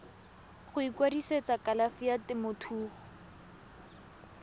go ikwadisetsa kalafi ya temothuo